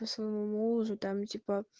по своему мужу там типа